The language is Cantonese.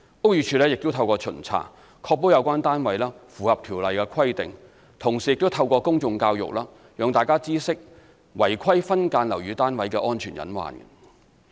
屋宇署亦透過巡查，確保有關單位符合《條例》規定，同時亦透過公眾教育，讓大家知悉違規分間樓宇單位的安全隱患。